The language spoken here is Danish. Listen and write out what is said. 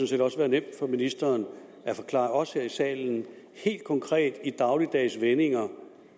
set også være nemt for ministeren at forklare os her i salen helt konkret i dagligdags vendinger